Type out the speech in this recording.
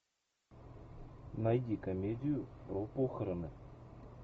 найди комедию про похороны